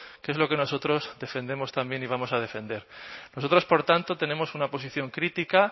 que es lo que nosotros defendemos también y vamos a defender nosotros por tanto tenemos una posición crítica